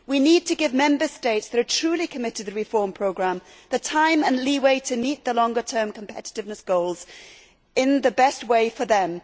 We need to give Member States that are truly committed to the reform programme the time and leeway to meet the longer term competitiveness goals in the best way for them.